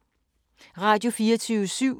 Radio24syv